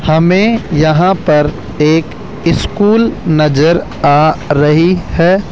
हमें यहां पर एक स्कूल नजर आ रही है।